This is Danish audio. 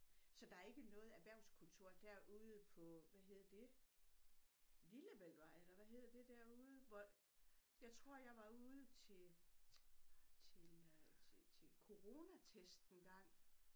Så der er ikke noget erhvervskontor derude på hvad hedder det lillebæltvej eller hvad hedder det derude hvor jeg tror jeg var ude til til øh til til til coronatest engang